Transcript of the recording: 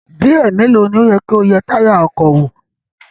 Bí ẹ̀ẹ̀melòó ni ó yẹ kí o yẹ táyà ọkọ̀ wò?